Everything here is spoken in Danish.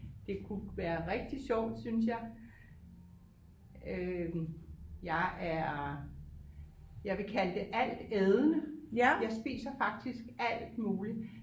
Det kunne være rigtig sjovt synes jeg øh jeg er jeg vil kalde det altædende jeg spiser faktisk alt muligt